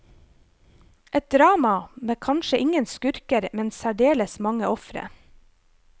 Et drama med kanskje ingen skurker, men særdeles mange ofre.